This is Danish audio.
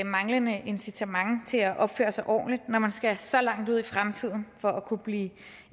manglende incitament til at opføre sig ordentligt når man skal så langt ud i fremtiden for at kunne blive